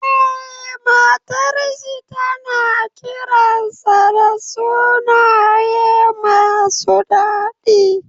Eh, matar shi tana kiransa da sunaye masu dadi.